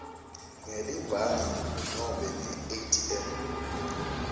ngelibhangi nobe ngeatm